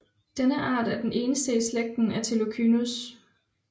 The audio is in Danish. Denne art er den eneste i slægten Atelocynus